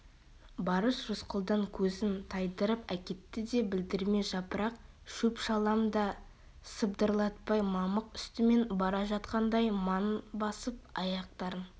барыс рысқұлдан көзін тайдырып әкетті де білдірмей жапырақ шөп-шалам да сыбдырлатпай мамық үстімен бара жатқандай маң басып аяқтарын